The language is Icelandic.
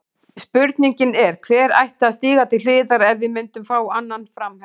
Spurningin er, hver ætti að stíga til hliðar ef við myndum fá annan framherja?